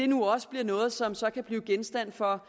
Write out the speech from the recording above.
nu også bliver noget som så kan blive genstand for